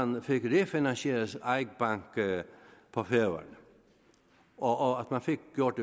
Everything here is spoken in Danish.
man fik refinansieret eik bank på færøerne og at man fik gjort